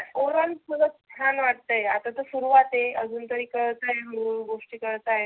overall च्छान वाटतय आता तर सुरुवात आहे. आजुन तरी कळतय हळू हळू गोष्टी कळत आहे.